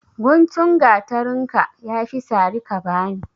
Gutun gatarinka, ya fi sari ka bani.